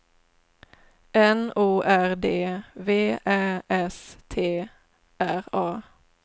N O R D V Ä S T R A